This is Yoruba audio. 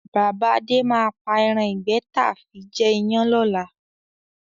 Bàbá Adé máa pa ẹran ìgbẹ́ taa fi jẹ iyán lọ́la.